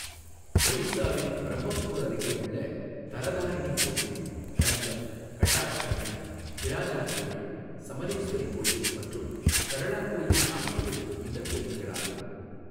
ஒடிசாவின் பிரம்மபூர் அருகே உள்ள தரதாரிணி கோயில், கஞ்சம், கட்டாக் சண்டி, பிராஜா கோயில், சமலேஸ்வரி கோயில் மற்றும் சரளா கோயில் ஆகியவை இந்த கோயில்களாகும்.